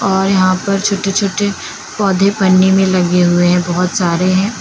और यहां पर छोटे छोटे पौधे पन्नी में लगे हुए हैं बहुत सारे हैं।